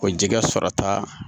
O jɛgɛ sɔrɔta